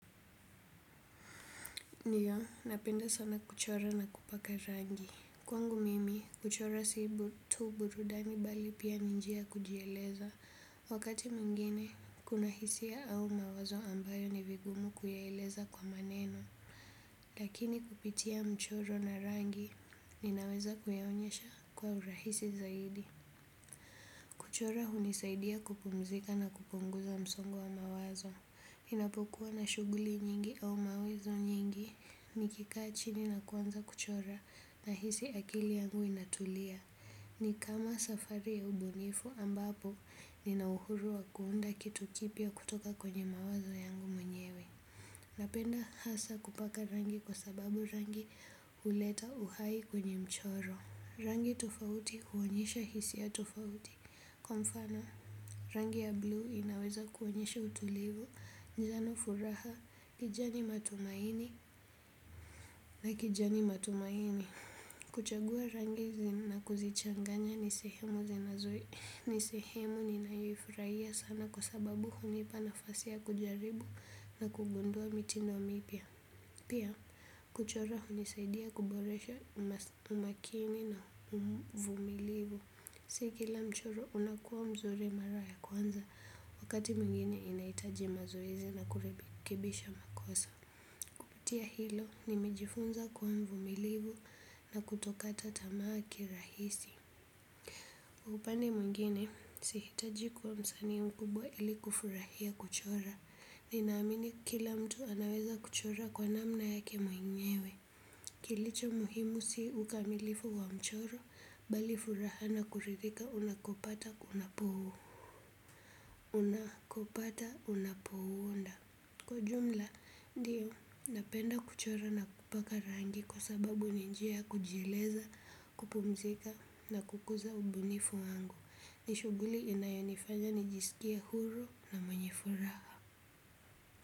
Ndio, napenda sana kuchora na kupaka rangi. Kwangu mimi, kuchora si tu burudani bali pia ni njia ya kujieleza. Wakati mwingine, kuna hisia au mawazo ambayo ni vigumu kuyaeleza kwa maneno. Lakini kupitia mchoro na rangi, ninaweza kuyaonyesha kwa urahisi zaidi. Kuchora hunisaidia kupumzika na kupunguza msongo wa mawazo. Ninapokuwa na shughuli nyingi au mawezo nyingi nikikaa chini na kuanza kuchora nahisi akili yangu inatulia. Ni kama safari ya ubunifu ambapo nina uhuru wa kuunda kitu kipya kutoka kwenye mawazo yangu mwenyewe. Napenda hasa kupaka rangi kwa sababu rangi huleta uhai kwenye mchoro. Rangi tofauti huonyesha hisia tofauti. Kwa mfano, rangi ya blue inaweza kuonyesha utulivu, njano furaha, kijani matumaini, na kijani matumaini. Kuchagua rangi hizi na kuzichanganya ni sehemu zinazoi. Ni sehemu ninaifurahia sana kwa sababu hunipa nafasi ya kujaribu na kugundua mitindo mipiya. Pia, kuchora hunisaidia kuboresha umakini na uvumilivu. Si kila mchoro unakuwa mzuri mara ya kwanza. Wakati mwingine inahitaji mazoezi na kurekebisha makosa. Kupitia hilo, nimejifunza kuwa mvumilivu, na kutokata tamaa kirahisi. Upande mwingine, sihitaji kuwa msanii mkubwa ili kufurahia kuchora. Ninaamini kila mtu anaweza kuchora kwa namna yake mwenyewe. Kilicho muhimu si ukamilifu wa mchoro, bali furaha na kuridhika unakopata unapo, unakopata unapouunda. Kwa jumla, ndio, napenda kuchora na kupaka rangi kwa sababu ni njia ya kujieleza, kupumzika na kukuza ubunifu wangu. Ni shughuli inayonifanya nijisikie huru na mwenye furaha.